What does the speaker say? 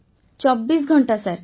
ବର୍ଷାବେନ୍ ୨୪ ଘଣ୍ଟା ସାର୍